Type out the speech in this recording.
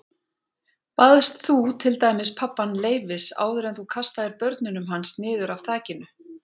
Baðst þú til dæmis pabbann leyfis áður en þú kastaðir börnunum hans niður af þakinu?